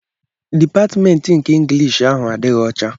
Dịpatmentị nke Ịnglish ahụ adịghị ọcha